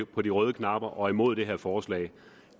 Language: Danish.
på de røde knapper og er imod det her forslag